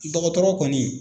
Dɔgɔtɔrɔ kɔni